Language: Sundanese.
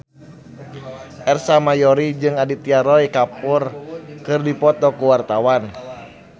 Ersa Mayori jeung Aditya Roy Kapoor keur dipoto ku wartawan